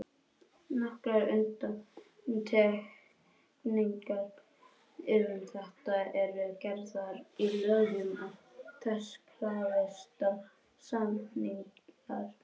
Nokkrar undantekningar um þetta eru gerðar í lögum og þess krafist að samningar séu skriflegir.